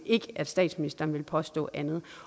ikke at statsministeren vil påstå andet